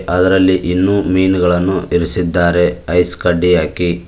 ಅದರಲ್ಲಿ ಇನ್ನೂ ಮೀನುಗಳನ್ನು ಇರಿಸಿದ್ದಾರೆ ಐಸ್ ಕಡ್ಡಿ ಹಾಕಿ.